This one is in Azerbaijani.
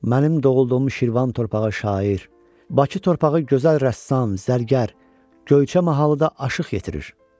Mənim doğulduğum Şirvan torpağı şair, Bakı torpağı gözəl rəssam, zərgər, Göyçə mahalı da aşiq gətirir.